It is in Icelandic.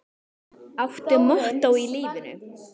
Áttu mottó í lífinu?